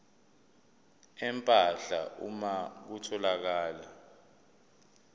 empahla uma kutholakala